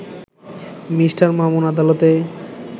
Me. Mamun আদালতে